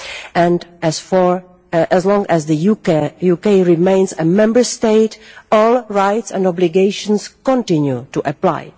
And for as long as the UK remains a Member State, all rights and obligations continue to apply.